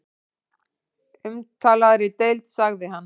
Umtalaðri deild sagði hann.